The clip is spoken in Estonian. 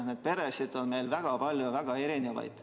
Neid peresid on meil väga palju ja väga erinevaid.